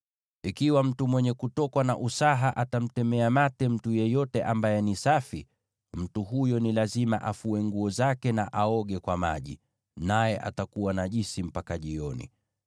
“ ‘Ikiwa mtu mwenye kutokwa na usaha atamtemea mate mtu yeyote ambaye ni safi, mtu huyo ni lazima afue nguo zake na aoge kwa maji, naye atakuwa najisi mpaka jioni.